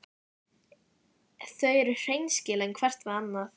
Þau eru hreinskilin hvert við annað.